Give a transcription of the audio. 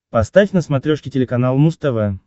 поставь на смотрешке телеканал муз тв